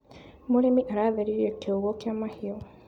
Mũrĩmi aratheririe kiugũ kia mahiũ.